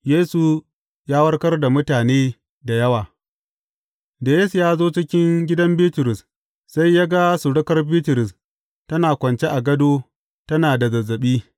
Yesu ya warkar da mutane da yawa Da Yesu ya zo cikin gidan Bitrus, sai ya ga surukar Bitrus tana kwance a gado tana da zazzaɓi.